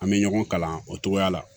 An bɛ ɲɔgɔn kalan o togoya la